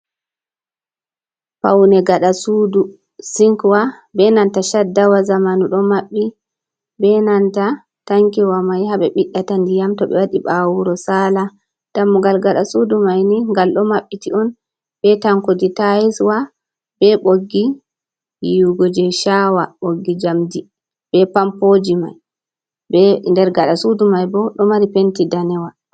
Paune gada suudu sinkwa be nanta shaddawa zamanu ɗo maɓɓi be nanta tanki wa mai ha ɓe ɓiɗdata ndiyam to ɓe waɗi ɓawo woro sala, dammugal gada suudu mai ni ngal ɗo maɓɓiti on be tankudi tais wa be ɓoggi yiwugo jei shaawa ɓoggi njamdi be pampoji mai, nder gada suudu mai bo ɗo mari penti danewa.